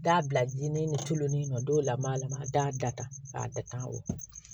Da bila ji nin colonin na don lamini a lama da a datugu